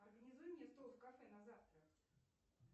организуй мне стол в кафе на завтра